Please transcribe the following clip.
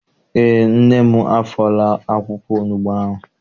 Eé, nne m afọọla akwụkwọ onugbu ahụ.